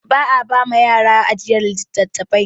Ba a ba wa yara ajiyar littattafai.